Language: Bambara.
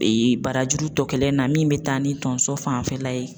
barajuru tɔ kɛlen na min bɛ taa ni tonso fanfɛla ye